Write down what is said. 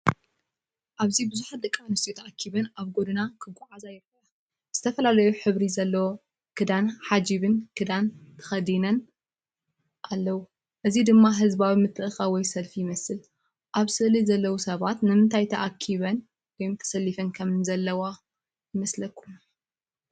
ኣብዚ ብዙሓት ደቂ ኣንስትዮ ተኣኪበን ኣብ ጎደና ክጓዓዛ ይረኣያ። ዝተፈላለየ ሕብሪ ዘለዎ ክዳንን ሓጂብ ክዳንን ተኸዲነን ኣለዉ፡።እዚ ድማ ህዝባዊ ምትእኽኻብ ወይ ሰልፊ ይመስል። ኣብ ስእሊ ዘለዉ ሰባት ንምንታይ ተኣኪበን ወይም ተሰሊፈን ዘለዋ ይመስለኩም?